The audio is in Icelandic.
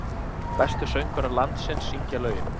Bestu söngvarar landsins syngja lögin